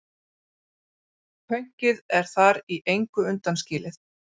Pönkið er þar í engu undanskilið.